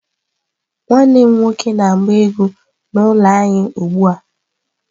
Nwanne m nwoke na-agba egwu n'ụlọ anyị ugbu a.